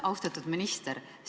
Austatud minister!